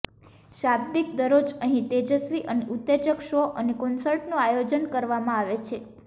શાબ્દિક દરરોજ અહીં તેજસ્વી અને ઉત્તેજક શો અને કોન્સર્ટનું આયોજન કરવામાં આવે છે